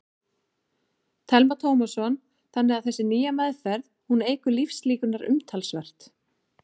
Telma Tómasson: Þannig að þessi nýja meðferð, hún eykur lífslíkurnar umtalsvert?